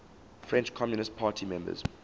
french communist party members